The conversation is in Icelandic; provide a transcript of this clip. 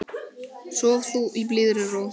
Sof þú í blíðri ró.